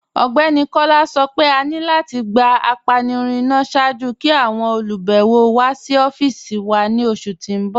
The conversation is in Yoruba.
Ọgbẹni Kọla sọ́ pé à ní láti gbà ápànirun ìná ṣáàjú kí àwọn olubẹ̀wọ̀ wà sí ọ̀fíìsì wà ni oṣù tí n bọ̀.